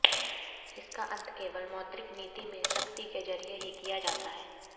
इसका अंत केवल मौद्रिक नीति में सख्ती के जरिये ही किया जाता है